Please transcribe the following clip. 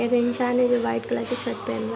एक इंसान है जो व्‍हाईट कलर की शर्ट पहना --